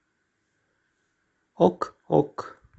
ок ок